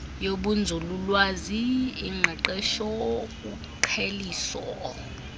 yobunzululwazi ingqeqesho uqheliso